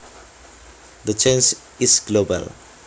The change is global